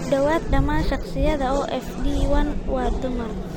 Ku dhawaad ​​dhammaan shakhsiyaadka qaba OFD1 waa dumar.